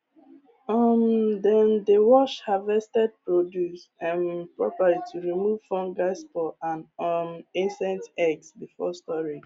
um dem dey wash harvested produce um properly to remove fungal spores and um insect eggs before